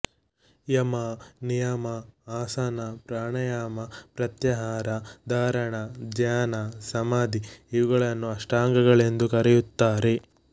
ಯಮ ನಿಯಮ ಆಸನ ಪ್ರಾಣಾಯಾಮ ಪ್ರತ್ಯಾಹಾರ ಧಾರಣ ಧ್ಯಾನ ಸಮಾಧಿ ಇವುಗಳನ್ನು ಅಷ್ಟಾಂಗಗಳೆಂದು ಕರೆಯುತ್ತಾರೆ